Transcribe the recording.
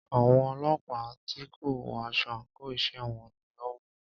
Àwọn ọlọ́pàá tí kò wọ aṣọ àńkò iṣẹ́ wọn ni o mú u.